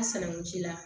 A sanankun ji la